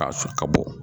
Ka ka bɔ